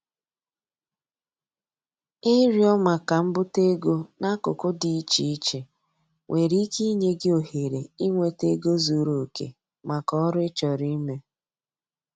Ịrịọ maka mbute ego n'akụkụ dị iche iche nwere ike inye gị ohere inweta ego zuru oke maka oru ị chọrọ ime.